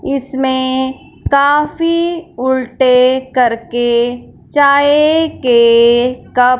इसमें काफी उल्टे करके चाय के कप --